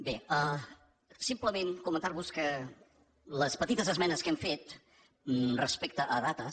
bé simplement comentar vos que les petites esmenes que hem fet respecte a dates